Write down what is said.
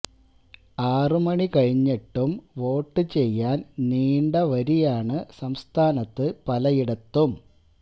ആറ് മണി കഴിഞ്ഞിട്ടും വോട്ട് ചെയ്യാൻ നീണ്ട വരിയാണ് സംസ്ഥാനത്ത് പലയിടത്തും